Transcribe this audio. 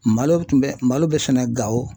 Malo tun bɛ malo bɛ sɛnɛ Gawo.